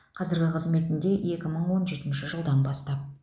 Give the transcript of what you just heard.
қазіргі қызметінде екі мың он жетінші жылдан бастап